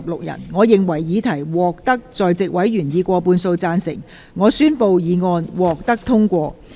由於議題獲得在席委員以過半數贊成，她於是宣布議案獲得通過。